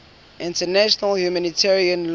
international humanitarian law